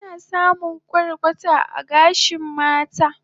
Ana samun kwarkwata a gashin mata